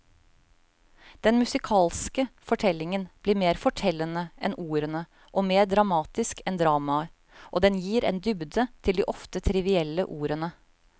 Den musikalske fortellingen blir mer fortellende enn ordene og mer dramatisk enn dramaet, og den gir en dybde til de ofte trivielle ordene.